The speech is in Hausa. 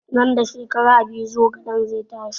Nan da shekara biyu zogalen zai tashi